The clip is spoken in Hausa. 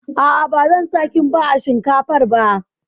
A'a, ba zan sa Kimba a shinkafar ba